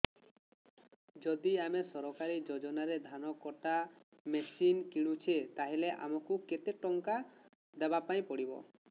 ଯଦି ଆମେ ସରକାରୀ ଯୋଜନାରେ ଧାନ କଟା ମେସିନ୍ କିଣୁଛେ ତାହାଲେ ଆମକୁ କେତେ ଟଙ୍କା ଦବାପାଇଁ ପଡିବ